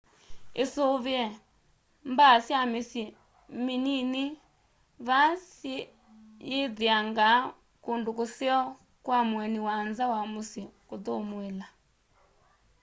isuvie mbaa sya misyi minini vaa siyithiangaa kundu kuseo kwa mueni wa nza wa musyi kuthumuila